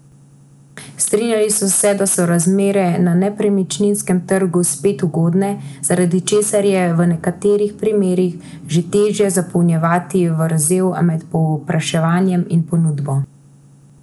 Strinjali so se, da so razmere na nepremičninskem trgu spet ugodne, zaradi česar je v nekaterih primerih že težje zapolnjevati vrzel med povpraševanjem in ponudbo.